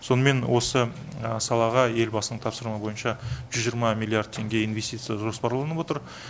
сонымен осы салаға елбасы тапсырмасы бойынша жүз жиырма миллиард теңге инвестиция жоспарланып отыр